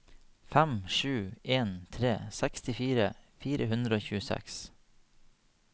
fem sju en tre sekstifire fire hundre og tjueseks